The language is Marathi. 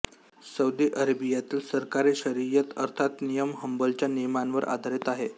सौदी अरेबियातील सरकारी शरियत अर्थात नियम हंबलच्या नियमांवर आधारित आहे